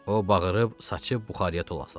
O bağırıb saçı buxarıya tulladı.